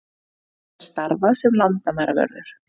Hann hafi starfað sem landamæravörður